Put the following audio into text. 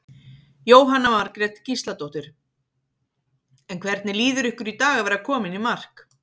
Jóhanna Margrét Gísladóttir: En hvernig líður ykkur í dag að vera komin í mark?